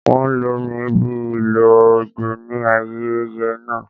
Wón lo mí bí ìlò ojo ní ayẹyẹ náà.